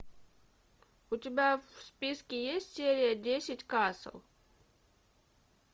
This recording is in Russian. у тебя в списке есть серия десять касл